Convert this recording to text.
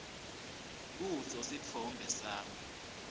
kuso sitfombe sami